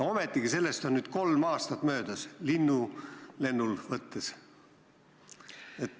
Ometigi on sellest nüüd kolm aastat möödas linnulennul võttes.